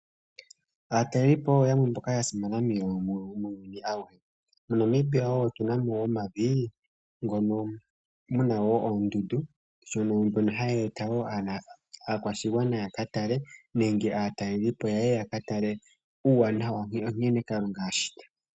Aatalelipo oyo yamwe ya simana muuyuni auhe, mo Namibia otu na moo woo omavi mono muna woo ondundu, ndhono ha dhi eta woo aakwashigwana ya ka tale, uuwanawa wankene kalunga ashita.